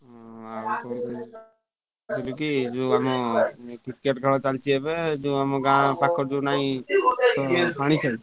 ହଁ ଯୋଉ ଆମ Cricket ଖେଳ ଚାଲିଛି ଏବେ ଯୋଉ ଆମ ଗାଁ ପାଖ ଯୋଉ ନାଇଁ ।